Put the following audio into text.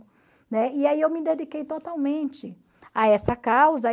Né? E aí eu me dediquei totalmente a essa causa.